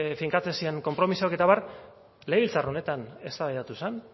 finkatzen ziren konpromisoak eta abar legebiltzar honetan eztabaidatu zen